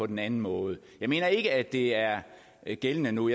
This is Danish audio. den anden måde jeg mener ikke at det er gældende nu